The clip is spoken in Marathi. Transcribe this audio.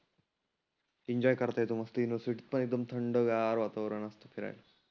एन्जॉय करता येतो मस्त युनिव्हर्सिटीत पण एकदम थंड गार वातावरण फिरायला.